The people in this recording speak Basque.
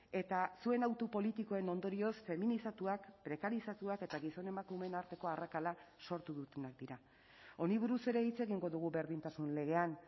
eta zuen hautu politikoen ondorioz feminizatuak prekarizatuak eta gizon emakumeen arteko arrakala sortu dutenak dira honi buruz ere hitz egingo dugu berdintasun legean